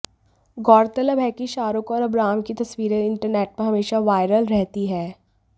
गौरतलब है कि शाहरूख और अबराम की तस्वीरें इंटरनेट पर हमेशा वायरल रहती हैं